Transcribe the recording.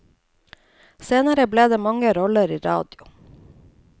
Senere ble det mange roller i radio.